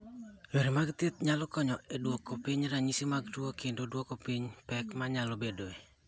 Yore mag thieth nyalo konyo e duoko piny ranyisi mag tuo kendo duoko piny pek ma nyalo bedoe.